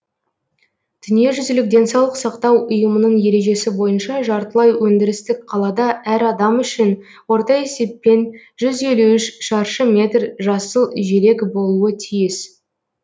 дүниежүзілік денсаулық сақтау ұйымының ережесі бойынша жартылай өндірістік қалада әр адам үшін орта есеппен жүз елу үш шаршы метр жасыл желек болуы тиіс